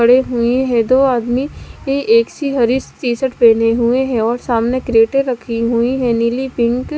खड़े हुए है दो आदमी की एक ही हरि टी शर्ट पहने हुए हैं और सामने क्रेटें रखी हुई है नीली पिक --